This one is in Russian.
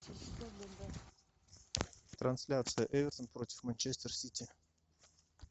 трансляция эвертон против манчестер сити